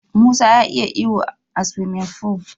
Musa ya iya iyo a siwimin ful.